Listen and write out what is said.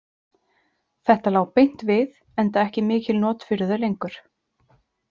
Þetta lá beint við, enda ekki mikil not fyrir þau lengur.